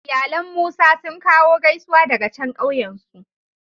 Iyalan Musa sun kawo gaisuwa daga can kauyen su.